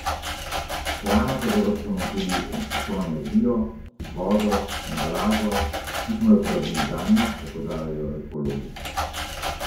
S hrano pa zavržemo tudi vso energijo, vodo, embalažo, ki smo jo porabili zanjo, opozarjajo ekologi.